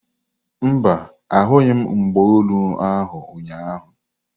Mba, ahụghị m mgba olu ahu ụnyaahụ.